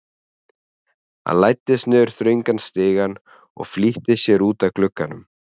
Hann læddist niður þröngan stigann og flýtti sér út að glugganum.